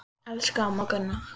Elsku amma Gunna.